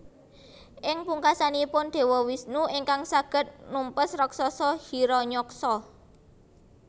Ing pungkasanipun Dewa Wisnu ingkang saged numpes raksasa Hiranyaksa